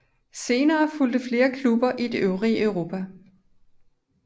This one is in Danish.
Senere fulgte flere klubber i det øvrige Europa